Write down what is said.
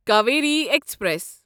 Kaveri express